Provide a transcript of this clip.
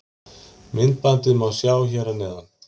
Myndbandið má sjá hér að neðan